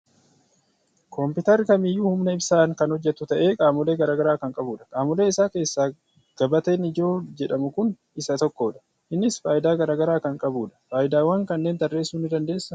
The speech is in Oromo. Kompiitarri kamiiyyuu humna ibsaan kan hojjetu ta'ee, qaamolee garaa garaa kan qabudha. Qaamolee isaa keessaa gabateen ijoo jedhamu kun isa tokkodha. Innis faayidaa garaa garaa kan qabudha. Faayidaawwan kanneen tarreessuu ni dandeessaa?